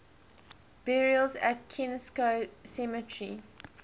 burials at kensico cemetery